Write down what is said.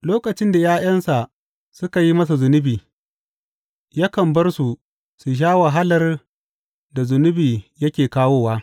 Lokacin da ’ya’yansa suka yi masa zunubi, yakan bar su su sha wahalar da zunubi yake kawowa.